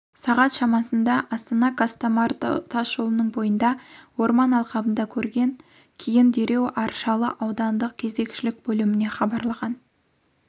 сағат шамасында астана-қостомар тасжолының бойындағы орман алқабында көрген кейін дереу аршалы аудандық кезекшілік бөліміне хабарлаған